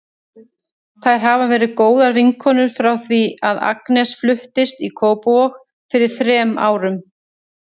Þær hafa verið góðar vinkonur frá því að Agnes fluttist í Kópavog fyrir þrem árum.